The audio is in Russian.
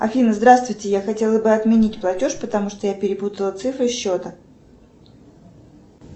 афина здравствуйте я хотела бы отменить платеж потому что я перепутала цифры счета